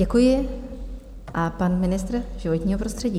Děkuji a pan ministr životního prostředí.